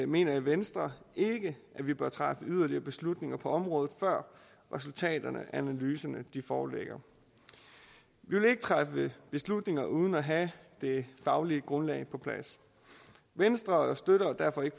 mener i venstre ikke at vi bør træffe yderligere beslutninger på området før resultaterne af analyserne foreligger vi vil ikke træffe beslutninger uden at have det faglige grundlag på plads venstre støtter derfor ikke